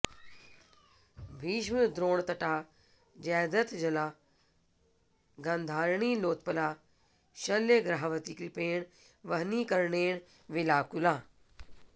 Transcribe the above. भीष्मद्रोणतटा जयद्रथजला गान्धारनीलोत्पला शल्यग्राहवती कृपेण वहनी कर्णेन वेलाकुला